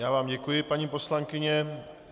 Já vám děkuji, paní poslankyně.